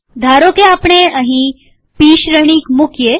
ધારોકે આપણે અહી પી શ્રેણિક મુકીએ